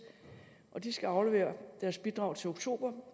og de skal aflevere deres bidrag til oktober